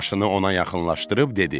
Maşını ona yaxınlaşdırıb dedi: